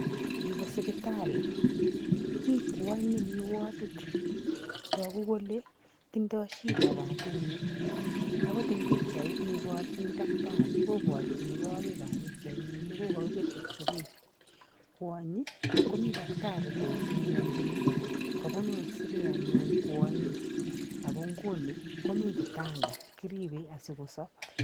yuu koo osipitali, nii kwany nemii wodit taguu kolee tindoi shida katinyi, angot ing bichait ne ibarchin daktari kobarchin kwaek ab bichait nyin ne kwakebir x-ray, kwaonyi komii daktrai koudumiachin kabunuu x-ray anyun kwonyi , ago nguni komii kitanda kiribee asi kosob